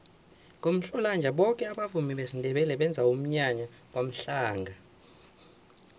ngomhlolanja boke abavumi besindebele benza umnyanya kwamhlanga